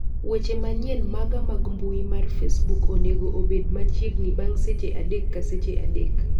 weche manyien maga mag mbui mar facebook onego bed machiegni bang' seche adek ka seche adek